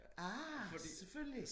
Ah selvfølgelig